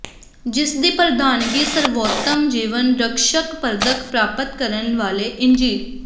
ਜਿਸ ਦੀ ਪ੍ਰਧਾਨਗੀ ਸਰਵੋਤਮ ਜੀਵਨ ਰਕਸ਼ਕ ਪਦਕ ਪ੍ਰਾਪਤ ਕਰਨ ਵਾਲੇ ਇੰਜੀ